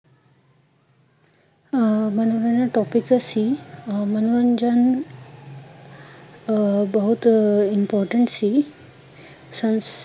ਅਹ ਮਨੋਰੰਜਨ topic ਸੀ, ਅਹ ਮਨੋਰੰਜਨ ਅਹ ਬਹੁਤ important ਸੀ ਸਸ